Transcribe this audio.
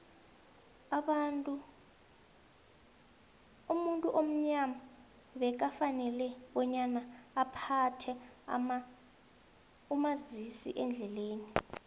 umuntu omnyama bekafanele bonyana aphathe umazisiendlelani